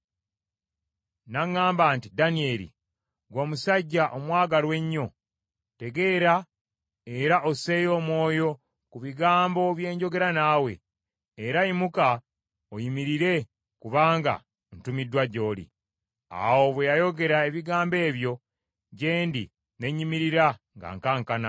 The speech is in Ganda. N’aŋŋamba nti, “Danyeri, ggwe omusajja omwagalwa ennyo, tegeera era osseeyo omwoyo ku bigambo bye njogera naawe, era yimuka oyimirire kubanga ntumiddwa gy’oli.” Awo bwe yayogera ebigambo ebyo gye ndi ne nnyimirira nga nkankana.